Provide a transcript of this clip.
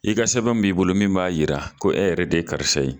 I ka sɛbɛn min b'i bolo min b'a jira ko e yɛrɛ de ye karisa ye